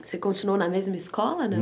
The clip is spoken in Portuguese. Você continuou na mesma escola, não?